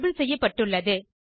label செய்யப்பட்டுள்ளது